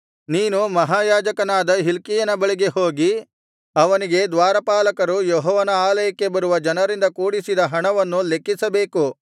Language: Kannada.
ನೀನು ಮಹಾಯಾಜಕನಾದ ಹಿಲ್ಕೀಯನ ಬಳಿಗೆ ಹೋಗಿ ಅವನಿಗೆ ದ್ವಾರಪಾಲಕರು ಯೆಹೋವನ ಆಲಯಕ್ಕೆ ಬರುವ ಜನರಿಂದ ಕೂಡಿಸಿದ ಹಣವನ್ನು ಲೆಕ್ಕಿಸಬೇಕು